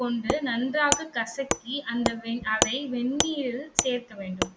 கொண்டு நன்றாக கசக்கி அந்த அதை வெந்நீரில் சேர்க்க வேண்டும்.